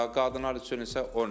Qadınlar üçün isə 10 ildir.